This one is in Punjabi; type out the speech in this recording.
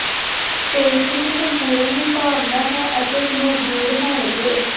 ਪੇਟ ਵਿੱਚ ਸੰਪੂਰਨ ਦੀ ਭਾਵਨਾ ਹੈ ਅਤੇ ਮੌਜੂਦ ਹੋਣਗੇ